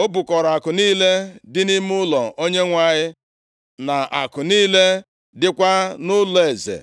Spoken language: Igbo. O bukọrọ akụ niile dị nʼime ụlọ Onyenwe anyị, na akụ niile dịkwa nʼụlọeze.